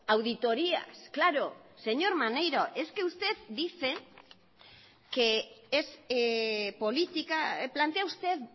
a las auditorías señor maneiro plantea usted